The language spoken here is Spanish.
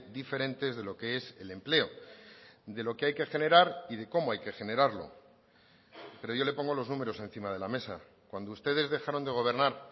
diferentes de lo que es el empleo de lo que hay que generar y de cómo hay que generarlo pero yo le pongo los números encima de la mesa cuando ustedes dejaron de gobernar